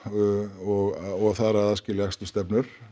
og þar að aðskilja akstursstefnur